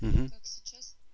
так сейчас